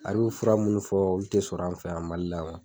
A y'u fura munnu fɔ olu te sɔr'an fɛ yan Mali la yan .